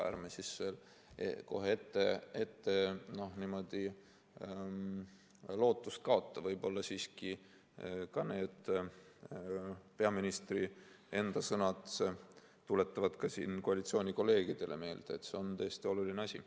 Ärme siis kohe ette lootust kaotame, võib-olla siiski ka need peaministri sõnad tuletavad siin koalitsioonikolleegidele meelde, et see on tõesti oluline asi.